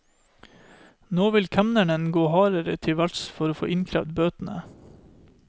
Nå vil kemneren gå hardere til verks for å få innkrevet bøtene.